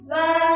VandeMataram